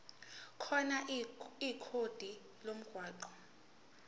khona ikhodi lomgwaqo